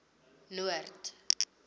noord